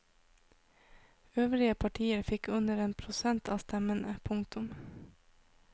Øvrige partier fikk under en prosent av stemmene. punktum